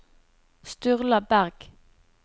Sturla Bergh